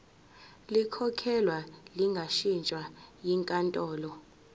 likhokhelwe lingashintshwa yinkantolo